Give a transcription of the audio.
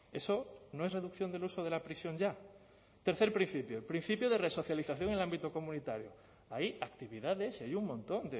eso no es reducción del uso de la prisión ya tercer principio principio de resocialización en el ámbito comunitario hay actividades y hay un montón